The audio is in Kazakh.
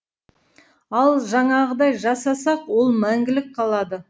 ал жаңағыдай жасасақ ол мәңгілік қалады